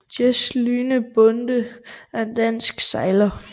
Jes Lyhne Bonde er en dansk sejler